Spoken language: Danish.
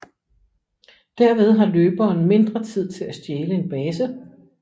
Derved har løberen mindre tid til at stjæle en base